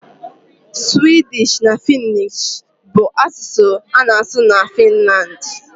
Suwịdịsh na Fịnnịsh bụ asụsụ a na-asụ na Finlandi.